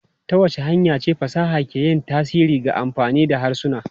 Ta wace hanya ce fasaha ke yin tasiri ga amfani da harsuna?